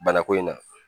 Bana ko in na